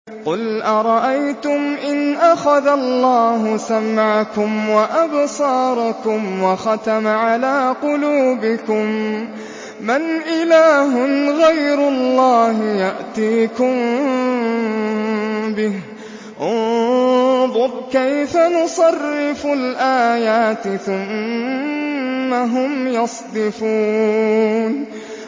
قُلْ أَرَأَيْتُمْ إِنْ أَخَذَ اللَّهُ سَمْعَكُمْ وَأَبْصَارَكُمْ وَخَتَمَ عَلَىٰ قُلُوبِكُم مَّنْ إِلَٰهٌ غَيْرُ اللَّهِ يَأْتِيكُم بِهِ ۗ انظُرْ كَيْفَ نُصَرِّفُ الْآيَاتِ ثُمَّ هُمْ يَصْدِفُونَ